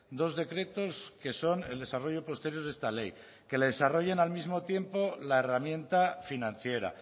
dos decretos que son el desarrollo posterior de esta ley que le desarrollen al mismo tiempo la herramienta financiera